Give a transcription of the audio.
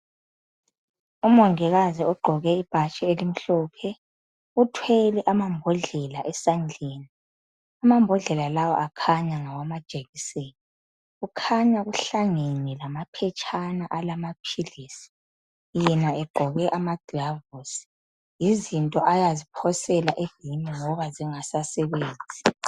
Umongikazi ugqoke ibhatshi elimhlophe. Uthwele amambodlela esandleni. Amambodlela lawa akhanya ngawamajekiseni. Kukhanya kuhlangane lamaphetshana alamaphilisi, yena egqoke amaglavosi. Yizinto ayaziphosela ebhimu ngoba zingasasebenzi.